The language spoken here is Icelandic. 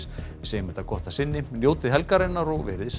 segjum þetta gott að sinni njótið helgarinnar og veriði sæl